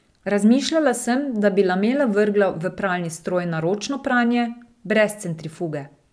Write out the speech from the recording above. Razmišljala sem, da bi lamele vrgla v pralni stroj na ročno pranje, brez centrifuge.